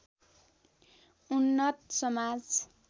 उन्नत समाज